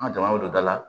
An ka jamanaw don da la